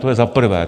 To je za prvé.